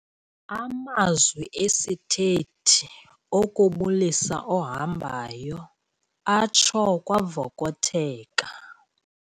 Amazwi esithethi okubulisa ohambayo atsho kwavokotheka.